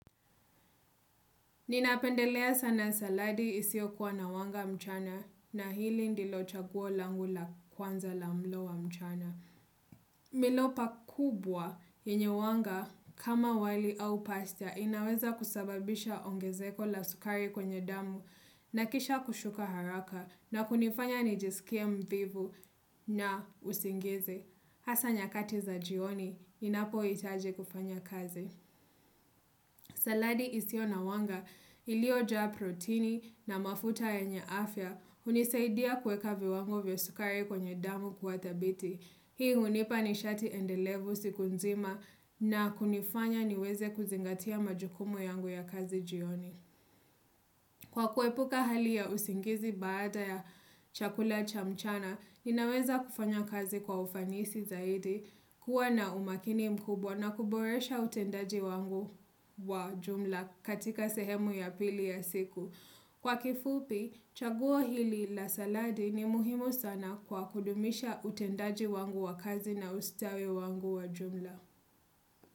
Ninapendelea sana saladi isiyo kuwa na wanga mchana na hili ndilo chaguo langu la kwanza la mlo wa mchana. Milopa kubwa yenye wanga kama wali au pasta inaweza kusababisha ongezeko la sukari kwenye damu na kisha kushuka haraka na kunifanya nijisikie mvivu na usingizi. Hasa nyakati za jioni, ninapohitaji kufanya kazi. Saladi isiyo na wanga iliojaa proteini na mafuta yenye afya hunisaidia kuweka viwango vya sukari kwenye damu kuwa dhabiti. Hii hunipa nishati endelevu siku nzima na kunifanya niweze kuzingatia majukumu yangu ya kazi jioni. Kwa kuepuka hali ya usingizi baada ya chakula cha mchana, ninaweza kufanya kazi kwa ufanisi zaidi, kuwa na umakini mkubwa na kuboresha utendaji wangu wa jumla katika sehemu ya pili ya siku. Kwa kifupi, chaguo hili la saladi ni muhimu sana kwa kudumisha utendaji wangu wa kazi na ustawi wangu wa jumla.